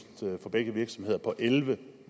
for begge virksomheder på elleve